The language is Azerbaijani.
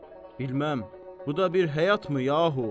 Biləməm, bu da bir həyatmı, yahu?